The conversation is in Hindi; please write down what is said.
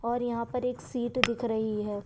और यहाँ पर एक सीट दिख रही है।